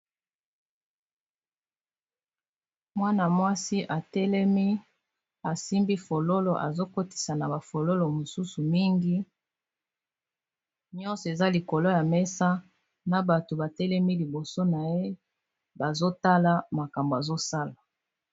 Mwana mwasi atelemi asimbi fololo azokotisa na bafololo mosusu ebele, nyonso eza likolo ya mesa, na bato batelemi liboso na ye bazotala makambo azosala.